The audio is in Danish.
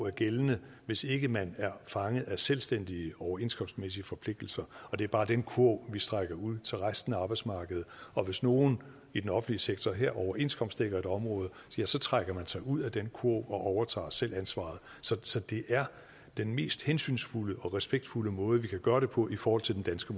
er gældende hvis ikke man er fanget af selvstændige overenskomstmæssige forpligtelser og det er bare den kurv vi strækker ud til resten af arbejdsmarkedet og hvis nogle i den offentlige sektor her overenskomstdækker et område ja så trækker man sig ud af den kurv og overtager selv ansvaret så så det er den mest hensynsfulde og respektfulde måde vi kan gøre det på i forhold til den danske